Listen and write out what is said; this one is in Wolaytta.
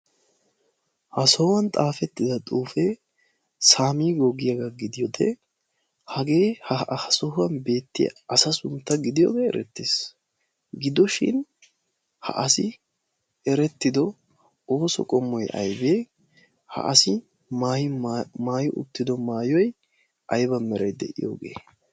ha sohuwan xaafettida xuufee saamiigoo giyaagaa gidiyoodee hagee ha sohuwan beettiya asa suntta gidiyoogee eretties gidoshin ha asi erettido ooso qomoy aybee ha asi maayo uttido maayoy ayban merai de'iyoogee